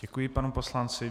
Děkuji panu poslanci.